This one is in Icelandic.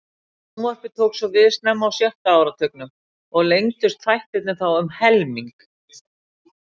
Sjónvarpið tók svo við snemma á sjötta áratugnum og lengdust þættirnir þá um helming.